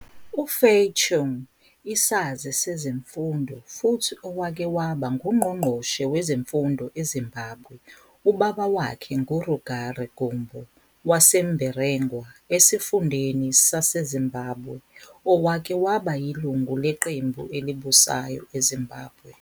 UFay Chung isazi sezemfundo futhi owake waba ngungqongqoshe wezemfundo eZimbabwe Ubaba wakhe nguRugare Gumbo waseMberengwa esifundeni saseZimbabwe owake waba yilungu leqembu elibusayo eZimbabwe.